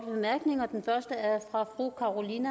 jo